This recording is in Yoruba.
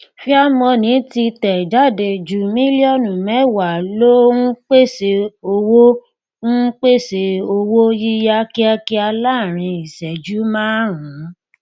fair money ti tẹ jáde ju mílíọnù mẹwàá lọ ń pèsè owó ń pèsè owó yíyá kíákíá láàárín ìṣẹjú márùnún